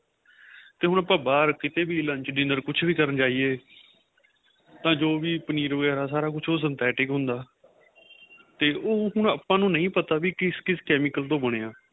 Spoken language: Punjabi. ਤੇ ਹੁਣ ਆਪਾਂ ਬਹਾਰ ਕਿਥੇ ਵੀ lunch dinner ਕਿਥੇ ਵੀ ਕੁੱਛ ਕਰਨ ਜਾਈਏ ਉਹ ਤਾਂ ਜੋ ਵੀ ਪਨੀਰ ਵਗੇਰਾ ਸਾਰਾ ਕੁੱਛ ਉਹ synthetic ਹੁੰਦਾ ਤੇ ਉਹ ਹੁਣ ਆਪਾਂ ਨੂੰ ਨਹੀਂ ਪਤਾ ਵੀ ਕਿਸ ਕਿਸ chemical ਤੋ ਬਣਿਆ